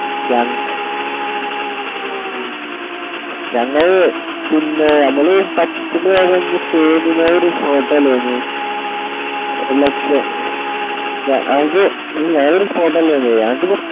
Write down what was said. ഞങ്ങളെ ഉം ഞങ്ങളെ ഉം പിന്നേമ്മക്ക് പറ്റുന്ന resort അയ്‌നും ഉം ലക്ഷ്യ്